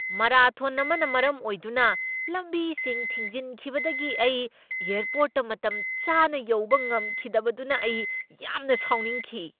Marathon ꯑꯃꯅ ꯃꯔꯝ ꯑꯣꯏꯗꯨꯅ ꯂꯝꯕꯤꯁꯤꯡ ꯊꯤꯡꯖꯤꯟꯈꯤꯕꯗꯒꯤ ꯑꯩ ꯑꯦꯔꯄꯣꯔꯠꯇ ꯃꯇꯝ ꯆꯥꯅ ꯌꯧꯕ ꯉꯝꯈꯤꯗꯕꯗꯅ ꯑꯩ ꯌꯥꯝꯅ ꯁꯥꯎꯅꯤꯡꯈꯤ ꯫